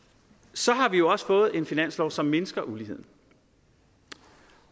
så har vi jo også fået en finanslov som mindsker uligheden